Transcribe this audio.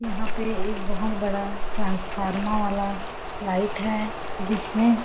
यहाँ पे एक बहोत बड़ा ट्रांसफार्मा वाला लाइट है जिसमें--